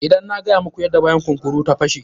Inda na gaya muku yadda bayan kunkura ta fashe.